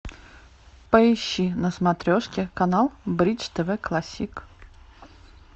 поищи на смотрешке канал бридж тв классик